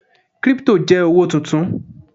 kripto je owo tuntun